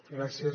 gràcies